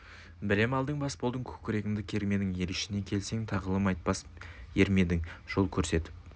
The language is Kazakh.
білім алдың бас болдың көкірегіңді кермедің ел ішіне келсең тағылым айтпас ер ме едің жол көрсетіп